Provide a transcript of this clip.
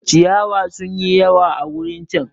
Ciyawa sun yi yawa a wurin chan.